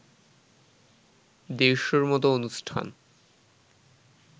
দেড়শ’র মতো অনুষ্ঠান